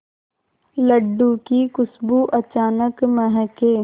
लड्डू की खुशबू अचानक महके